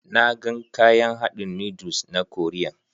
Na gan kayan hadin noodles na koriyan.